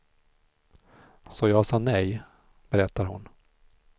Så jag sa nej, berättar hon.